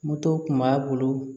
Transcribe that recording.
Moto kun b'a bolo